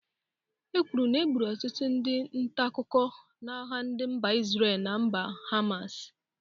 E kwuru na egburu ọtụtụ ndị ntaakụkọ n'agha ndị mba Isrel na mba Hamas.